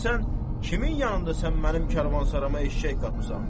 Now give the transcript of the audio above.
Deyərsən kimin yanında sən mənim kərvansarama eşşək qatmısan?